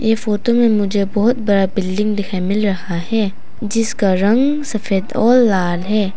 ये फोटो में मुझे बहुत बड़ा बिल्डिंग दिखाई मिल रहा है जिसका रंग सफेद और लाल है।